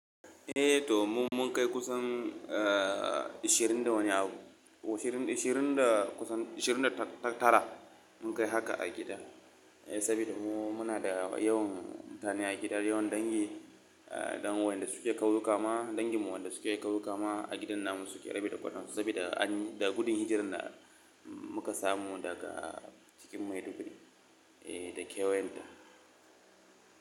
Eh to mu mun kai kusan, eh, ashirin da wani abu, oh ashirin da, ashirin da kusan, ashirin da tara mun kai haka a gida. Eh saboda mu muna da yawan mutane a gida, yawan dangi, eh, ɗan wayanda su ke kuyuka ma, dangin mu wadanda su ke kauyuka ma a gidan namusu ke rabi da kwatan su saboda anyi, da gudun hijirin da muka samu daga cikin Maiduguri, eh da kewan ta.